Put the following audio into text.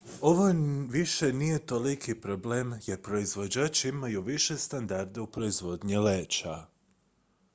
ovo više nije toliki problem jer proizvođači imaju više standarde u proizvodnji leća